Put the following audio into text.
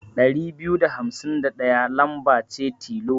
Ɗari biyu da hamsin da ɗaya lamba ce tilo.